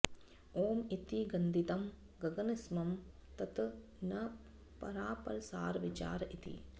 ॐ इति गदितं गगनसमं तत् न परापरसारविचार इति